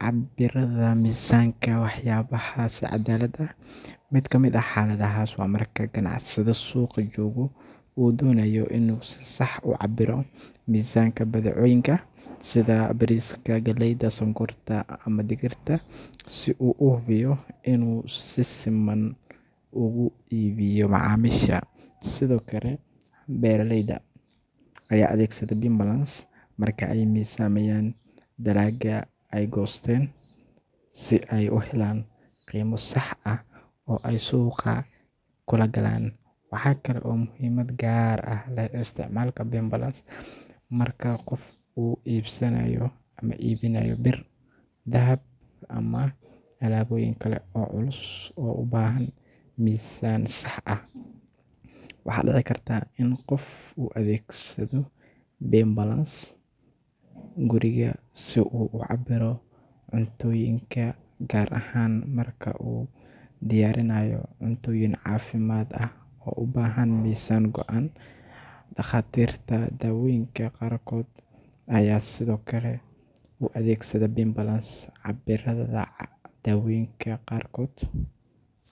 cabiradha misanka wax yabahas cadalada. Mid kamid xaladhahas oo marka ganacsadha suuqa joga u donayo inuu si sax u cabiro misanka badcoyinka sidha bariska, galeyda, sokorta ama digirta si u uhubiyo inu si siman uga iibiyo macamisha, sidhokale beeraleyda Aya adeegsadha beam balance marka ay miisamiyan talaga ay goosten si ay u helan qimo sax ah oo ay suuqa kulagalan. Waxa Kalo muhimad gaar ah laga isticmala Beam balance marka qof iibsanayo ama iibinayo bir dahab ama alaaboyin kale oo culus oo ubahan misaan sax ah. Waxa dica Karta in qof u adeegsadho beam balance guriga si u ucabiro cuntoyinka gaar ahaan marka u diyarinayo cuntoyin cafimaad ah oo ubahan misaan goan. Dakhatirta dawonyinka qaarkod Aya sidhokale u adeegsadho beam balance cabiradha dawonyinka qaarkod.